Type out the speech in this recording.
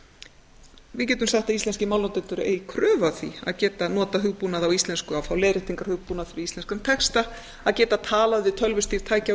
við getum sagt að íslenskir málnotendur eigi kröfu á því að geta notað hugbúnað á íslensku að fá leiðréttingarhugbúnað fyrir íslenskan texta að geta talað við tölvustýrð tæki á